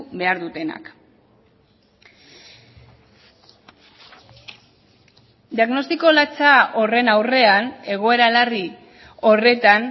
behar dutenak diagnostiko latza horren aurrean egoera larri horretan